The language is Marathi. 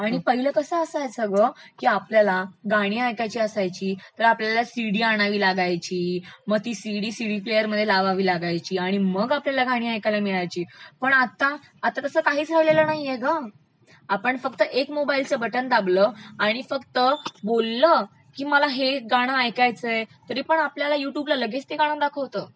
आणि पहिलं कसं असायचं ना ग की आपल्याला गाणी ऐकायची असायची तर आपल्याला सिडी आणायला लागायची मग ती सिडी सिडीप्लेअरमध्ये लावावी लागायची आणि मग आपल्याला गाणी ऐकायला मिळायची पण आता तस काहि राहिलेलं नाहीये गं.,आपण फक्त एक मोबाइल फोनच बटन दाबलं आणि फक्त बोललं की मला हे गाणं ऐकायचयं तरी पण आपल्याला युट्यूबला लगेच ते गाणं दाखवतं.